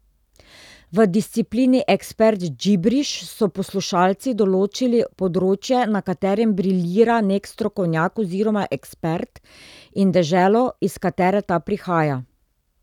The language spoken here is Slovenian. V disciplini Ekspert džibriš so poslušalci določili področje, na katerem briljira nek strokovnjak oziroma ekspert, in deželo, iz katere ta prihaja.